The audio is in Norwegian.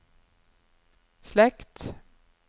slekt